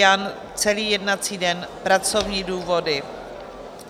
Jan celý jednací den - pracovní důvody.